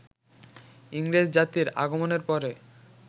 ইংরেজ জাতির আগমনের পরে